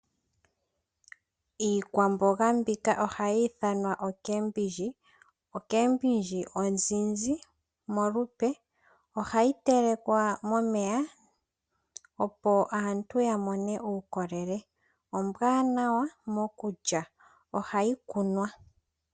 Iikwamboga mbika ohayi ithanwa oomboga dhomitse, omboga yomutse ohayi telekwa momeya opo aantu yamone uukolele, ombwanawa mokulya yo ohayi kunwa.